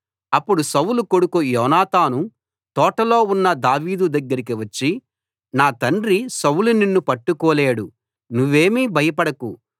అప్పుడు సౌలు కొడుకు యోనాతాను తోటలో ఉన్న దావీదు దగ్గరికి వచ్చి నా తండ్రి సౌలు నిన్ను పట్టుకోలేడు నువ్వేమీ భయపడకు